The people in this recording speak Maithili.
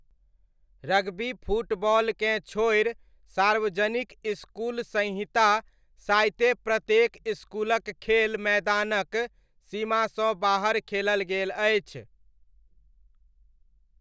रग्बी फुटबॉलकेँ छोड़ि सार्वजनिक इसकुल संहिता साइते प्रत्येक इसकुलक खेल मैदानक सीमासँ बाहर खेलल गेल अछि।